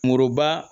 Moroba